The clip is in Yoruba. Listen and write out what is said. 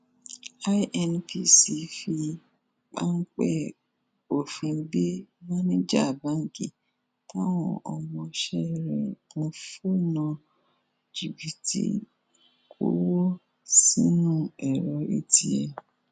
inpc fi páńpẹ òfin gbé máníjà báǹkì táwọn ọmọọṣẹ rẹ ń fọnà jìbìtì kọwọ sínú ẹrọ atm